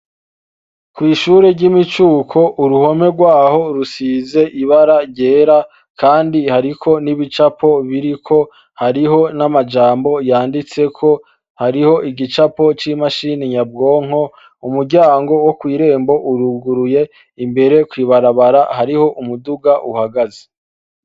Kw'ishure ry'imicuko, uruhome rwaho rusize ibara ryera, kandi hariko n'ibicapo biriko, hariho n'amajambo yanditseko. Hariho igicapo c'imashini nyabwonko. Umuryango wo kw'irembo uruguruye, imbere kw'ibarabara hariho umuduga uhagaze.